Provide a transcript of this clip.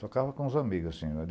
Tocava com os amigos, assim.